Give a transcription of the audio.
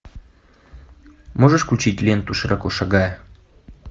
можешь включить ленту широко шагая